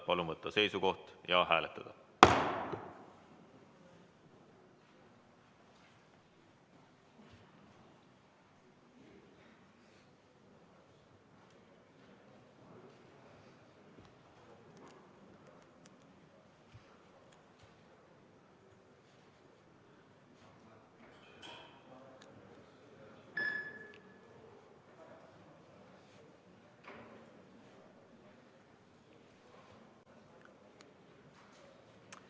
Palun võtta seisukoht ja hääletada!